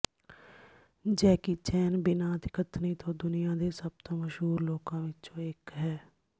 Jackie Chan ਬਿਨਾਂ ਅਤਿਕਥਨੀ ਤੋਂ ਦੁਨੀਆ ਦੇ ਸਭ ਤੋਂ ਮਸ਼ਹੂਰ ਲੋਕਾਂ ਵਿੱਚੋਂ ਇੱਕ ਹੈ